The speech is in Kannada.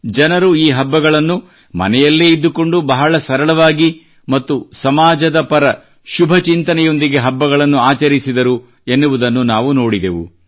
ಜನರು ಈ ಹಬ್ಬಗಳನ್ನು ಮನೆಯಲ್ಲೇ ಇದ್ದುಕೊಂಡು ಬಹಳ ಸರಳವಾಗಿ ಮತ್ತು ಸಮಾಜದ ಪರ ಶುಭ ಚಿಂತನೆಯೊಂದಿಗೆ ಹಬ್ಬಗಳನ್ನು ಆಚರಿಸಿದರು ಎನ್ನುವುದನ್ನು ನಾವು ನೋಡಿದೆವು